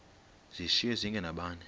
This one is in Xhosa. zishiywe zinge nabani